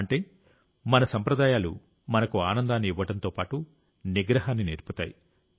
అంటే మన సంప్రదాయాలు మనకు ఆనందాన్ని ఇవ్వడంతో పాటు నిగ్రహాన్ని నేర్పుతాయి